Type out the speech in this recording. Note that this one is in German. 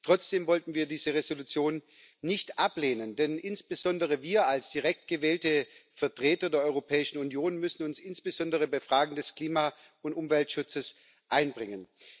Trotzdem wollten wir diese Entschließung nicht ablehnen, denn insbesondere wir als direkt gewählte Vertreter der Europäischen Union müssen uns insbesondere bei Fragen des Klima und Umweltschutzes einbringen.